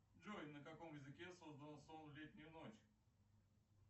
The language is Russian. джой на каком языке создан сон в летнюю ночь